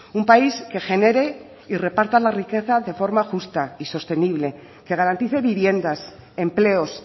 un país que genere y reparta la riqueza de forma justa y sostenible que garantice viviendas empleos